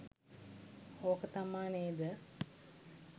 ඕක තමා නේද?